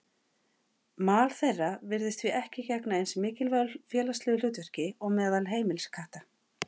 Mal þeirra virðist því ekki gegna eins mikilvægu félagslegu hlutverki og meðal heimiliskatta.